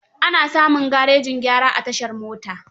Ana samun garejin gyara a tashar mota.